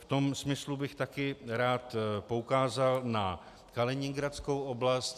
V tom smyslu bych taky rád poukázal na Kaliningradskou oblast.